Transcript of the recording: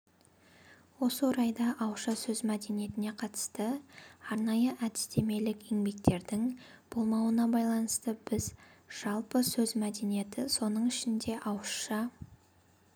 осы орайда ауызша сөз мәдениетіне қатысты арнайы әдістемелік еңбектердің болмауына байланысты біз жалпы сөз мәдениеті соның ішінде ауызша